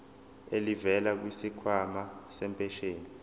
elivela kwisikhwama sempesheni